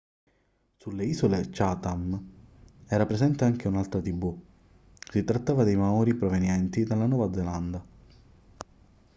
sulle isole chatham era presente anche un'altra tribù si trattava di maori provenienti dalla nuova zelanda